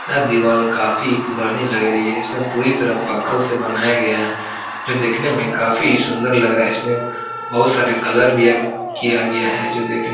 यह दीवाल काफी पुरानी लग रही है। इसमें पूरी तरह पक्खल से बनाया गया है जो देखने में काफी सुंदर लग रहा है। इसमें बहोत सारे कलर भी है किया गया है जो देखने --